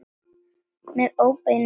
Með óbeinum hætti.